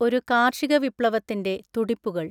ഒരു കാർഷികവിപ്ലവത്തിൻ്റെ തുടിപ്പുകൾ